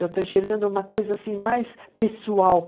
Eu estou enxergando uma coisa assim mais pessoal.